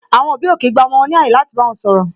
Àwọn òbí ò kii gba àwọn ọmọ wọn ní ààyè láti bá wọn sọ̀rọ̀